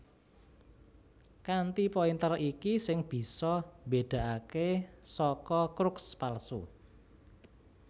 Kanthi pointer iki sing bisa mbédakaké saka crux palsu